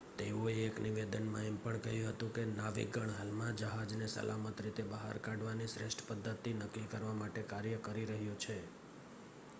"તેઓએ એક નિવેદનમાં એમ પણ કહ્યું કે "નાવિકગણ હાલમાં જહાજને સલામત રીતે બહાર કાઢવાની શ્રેષ્ઠ પદ્ધતિ નક્કી કરવા માટે કાર્ય કરી રહ્યું છે"".